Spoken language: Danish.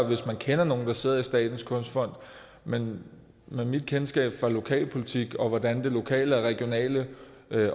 hvis man kender nogen der sidder i statens kunstfond men med mit kendskab til lokalpolitik og til hvordan det lokale og regionale